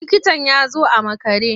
Likitan ya zo a makare.